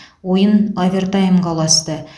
ойын овертаймға ұласты